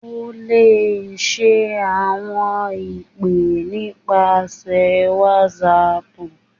o le ṣe awọn ipe nipasẹ whatsapp